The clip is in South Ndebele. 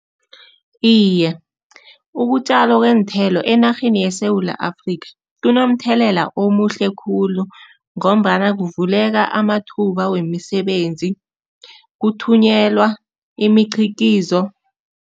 Iye, ukutjalwa kweenthelo enarheni yeSewula Afrika kunomthelela omuhle khulu ngombana kuvuleka amathuba wemisebenzi, kuthunyelwa imiqhikizo.